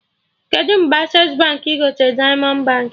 Kedụ mgbe Accessi Baankị gotere Diamond Baankị?